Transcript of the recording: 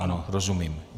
Ano, rozumím.